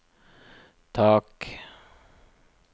tak